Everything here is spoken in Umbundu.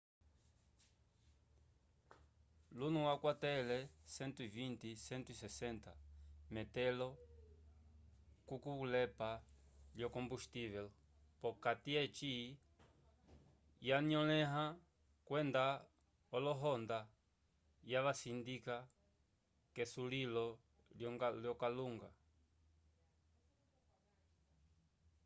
luno wakwatele 120-160 metelo k'okulepa lyo-kombustivel p'okati eci yanyolẽha kwenda olohonda yavasindika k'esulilo lyokalunga